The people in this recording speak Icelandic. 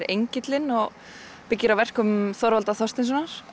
engillinn og byggir á verkum Þorvaldar Þorsteinssonar